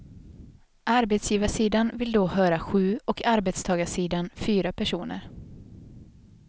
Arbetsgivarsidan vill då höra sju och arbetstagarsidan fyra personer.